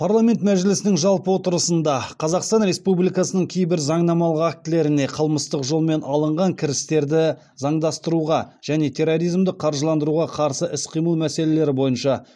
парламент мәжілісінің жалпы отырысында қазақстан республикасының кейбір заңнамалық актілеріне қылмыстық жолмен алынған кірістерді заңдастыруға және терроризмді қаржыландыруға қарсы іс қимыл мәселелері бойынша